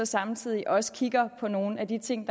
samtidig også kigger på nogle af de ting